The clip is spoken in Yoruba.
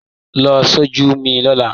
Lọ sójú mi lọ́la